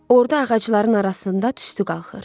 Orada ağacların arasında tüstü qalxır.